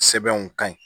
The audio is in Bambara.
Sɛbɛnw ka ɲi